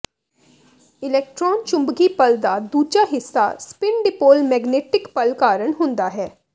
electron ਚੁੰਬਕੀ ਪਲ ਦਾ ਦੂਜਾ ਹਿੱਸਾ ਸਪਿਨ ਡਿੱਪੋਲ ਮੈਗਨੀਟਿਕ ਪਲ ਕਾਰਨ ਹੁੰਦਾ ਹੈ